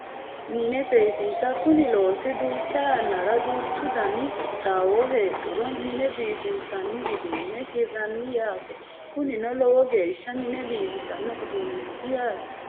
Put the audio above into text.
Mine seesisa Kuni loosi duucha yannara duuchu Dani qixxaawo heedhuro mine biifinsanni uduune hiranni yaate kunino lowo geeshsha mine biifisano uduuneeti yaate